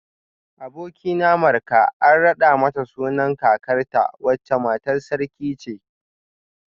Abokina Marka an rada mata sunan kakarta wacce matar sarki ce